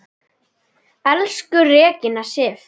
Elsku Regína Sif.